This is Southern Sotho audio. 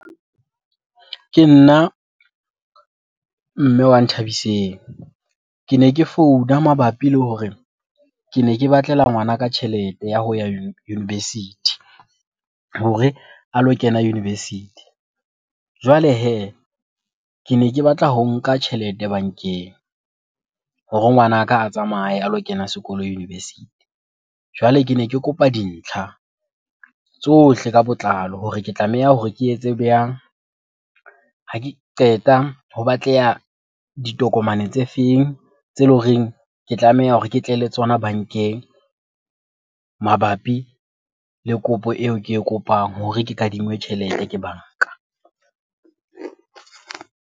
Ke nna mme wa Nthabiseng. Kene ke founa mabapi le hore kene ke batlela ngwanaka tjhelete ya ho ya university hore a lo kena university. Jwale hee, kene ke batla ho nka tjhelete bankeng hore ngwanaka a tsamaye a lo kena sekolo university. Jwale kene ke kopa dintlha tsohle ka botlalo hore ke tlameha hore ke etse . Ha ke qeta ho batleha ditokomane tse feng tse leng horeng ke tlameha hore ke tle le tsona bankeng mabapi le kopo eo ke e kopang hore ke kadinngwe tjhelete ke banka?